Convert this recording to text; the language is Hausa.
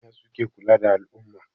Manya suke kula da al'umma.